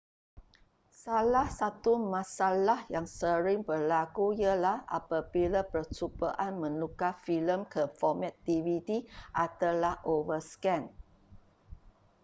salah satu masalah yang sering berlaku ialah apabila percubaan menukar filem ke format dvd adalah overscan